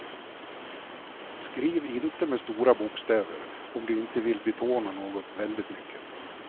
Skriv inte med stora bokstäver om du inte vill betona något väldigt mycket.